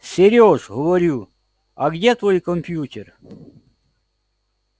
серёж говорю а где твой компьютер